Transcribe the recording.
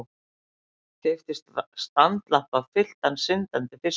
Keypti standlampa fylltan syndandi fiskum.